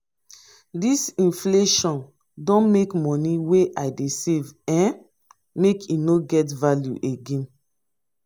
dis inflation don make moni wey i dey save um make e no get value again.